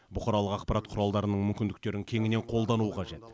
бұқаралық ақпарат құралдарының мүмкіндіктерін кеңінен қолдану қажет